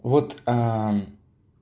вот